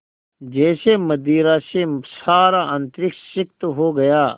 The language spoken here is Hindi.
जैसे मदिरा से सारा अंतरिक्ष सिक्त हो गया